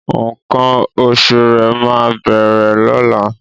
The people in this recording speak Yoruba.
Nkan òṣù̀ rẹ máa bẹ̀rẹ̀ lọla